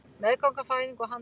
Meðganga, fæðing og handtaka